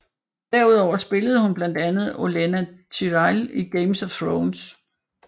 Derudover spillede hun blandt andet Olenna Tyrell i Game of Thrones